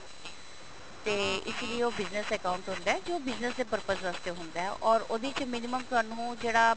ਤੇ ਇਸ ਲਈ ਉਹ business account ਹੁੰਦਾ ਜੋ business ਦੇ purpose ਵਾਸਤੇ ਹੁੰਦਾ or ਉਹਦੇ ਚ minimum ਤੁਹਾਨੂੰ ਜਿਹੜਾ